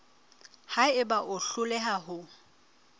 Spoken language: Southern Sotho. ha eba o hloleha ho